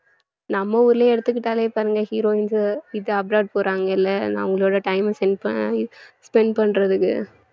நம்ம ஊர்லயே எடுத்துக்கிட்டாலே பாருங்க heroines இது abroad போறாங்கல்ல அவங்களோட time அ spend பண்~ spend பண்றதுக்கு